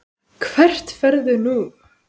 Hvert ferðu nú?